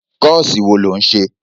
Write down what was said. Kọ́ọ̀sì wo ló ń ṣe?